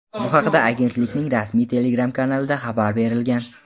Bu haqda agentlikning rasmiy Telegram kanalida xabar berilgan .